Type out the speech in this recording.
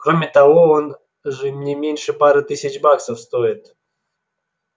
кроме того он же не меньше пары тысяч баксов стоит